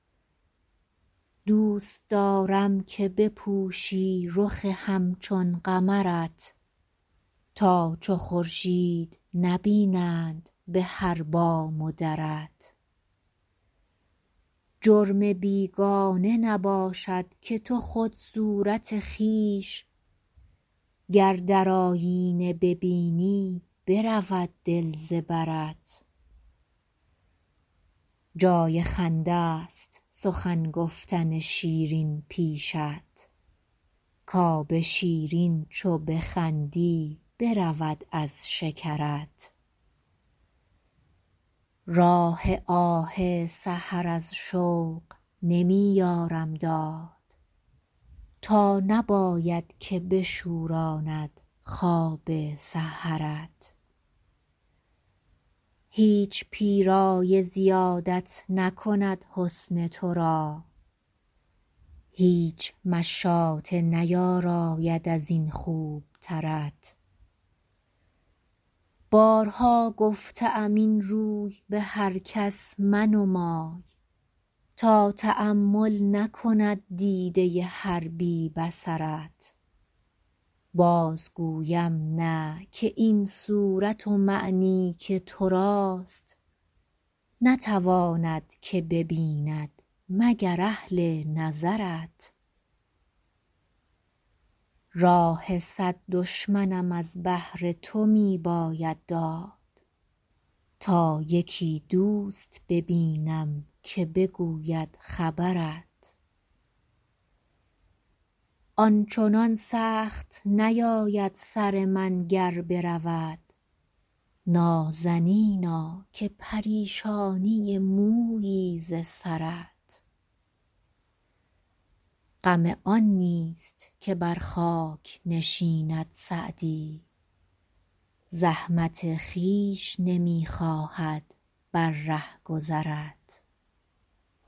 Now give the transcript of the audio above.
دوست دارم که بپوشی رخ همچون قمرت تا چو خورشید نبینند به هر بام و درت جرم بیگانه نباشد که تو خود صورت خویش گر در آیینه ببینی برود دل ز برت جای خنده ست سخن گفتن شیرین پیشت کآب شیرین چو بخندی برود از شکرت راه آه سحر از شوق نمی یارم داد تا نباید که بشوراند خواب سحرت هیچ پیرایه زیادت نکند حسن تو را هیچ مشاطه نیاراید از این خوبترت بارها گفته ام این روی به هر کس منمای تا تأمل نکند دیده هر بی بصرت باز گویم نه که این صورت و معنی که تو راست نتواند که ببیند مگر اهل نظرت راه صد دشمنم از بهر تو می باید داد تا یکی دوست ببینم که بگوید خبرت آن چنان سخت نیاید سر من گر برود نازنینا که پریشانی مویی ز سرت غم آن نیست که بر خاک نشیند سعدی زحمت خویش نمی خواهد بر رهگذرت